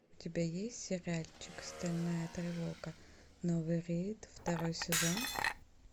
у тебя есть сериальчик стальная тревога новый рейд второй сезон